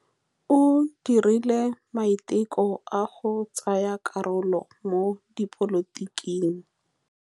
O dirile maitekô a go tsaya karolo mo dipolotiking.